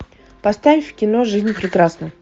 поставь кино жизнь прекрасна